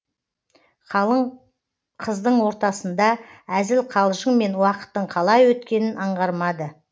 қалың қыздың ортасында әзіл қалжыңмен уақыттың қалай өткенін аңғармады